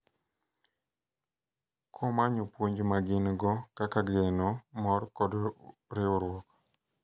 Komanyo puonj ma gin-go kaka geno, mor, kod riwruok.